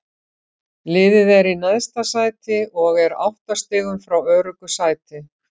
Liðið er í neðsta sæti og er átta stigum frá öruggu sæti.